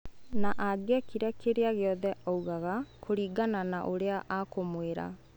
Na angiekire kĩria giothe augaga kũringana na ũrĩa akũmwĩra.